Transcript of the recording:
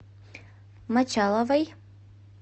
мочаловой